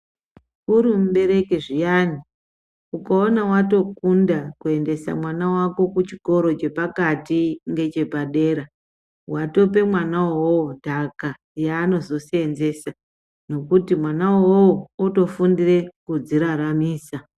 Uri mubereki zviyani ukaona watokunda kuendesa mwana wako kuchikoro chepakati ngechepadera watope mwana uwowo ntaka yaanozoseenzesa nokuti mwana uwowo otofundire kudziraramisa.